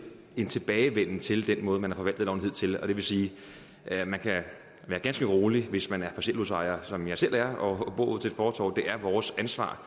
en tilbagevenden til den måde man har forvaltet loven på hidtil og det vil sige at man kan være ganske rolig hvis man er parcelhusejer som jeg selv er og bor ud til et fortov det er vores ansvar